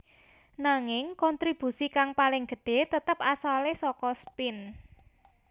Nanging kontribusi kang paling gedhé tetep asalé saka spin